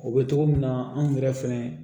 O bɛ togo min na anw yɛrɛ fɛnɛ